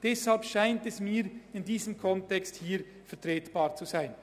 Deshalb scheint es mir in diesem Kontext vertretbar zu sein.